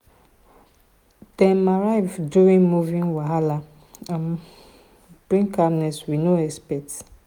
dem arrival during moving wahala um bring calmness we no expect.